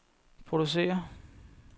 producere